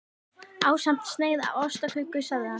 Ásamt sneið af ostaköku sagði hann.